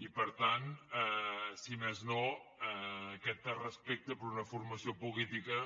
i per tant si més no aquest respecte per una formació política